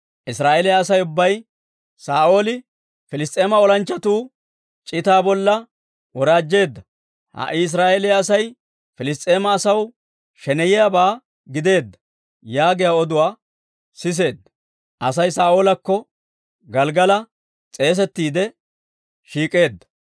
Israa'eeliyaa Asay ubbay, «Saa'ooli Piliss's'eema olanchchatuu c'itaa bolla woraajjeedda; ha"i Israa'eeliyaa Asay Piliss's'eema asaw sheneyiyaabaa gideedda» yaagiyaa oduwaa siseedda. Asay Saa'oolakko Gelggala s'eesettiide shiik'eedda.